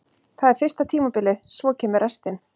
Það er fyrsta tímabilið, svo kemur restin.